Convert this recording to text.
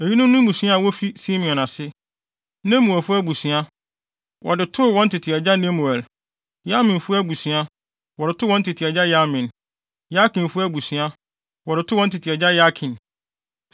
Eyinom ne mmusua a wofi Simeon ase: Nemuelfo abusua, wɔde too wɔn tete agya Nemuel. Yaminfo abusua, wɔde too wɔn tete agya Yamin. Yakinfo abusua, wɔde too wɔn tete agya Yakin.